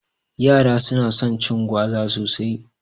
Yara su na son cin gwaza sosai